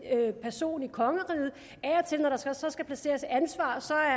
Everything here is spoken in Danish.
person i kongeriget af og til når der så skal placeres et ansvar